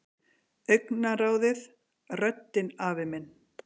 Augnaráðið, röddin afi minn.